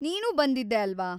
ನೀನೂ ಬಂದಿದ್ದೆ ಅಲ್ವಾ?